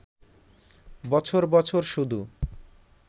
বছর বছর শুধু